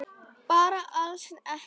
Bara alls ekki.